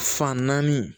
Fan naani